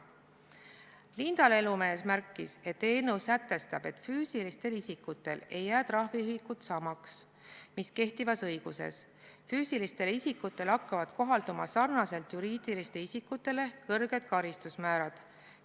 Linda Lelumees märkis, et eelnõu sätestab, et füüsilistel isikutel ei jää trahviühikud samaks, mis on kehtivas õiguses, füüsilistele isikutele hakkavad sarnaselt juriidiliste isikutega kohalduma kõrged karistusmäärad.